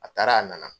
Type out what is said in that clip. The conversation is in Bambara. A taara a nana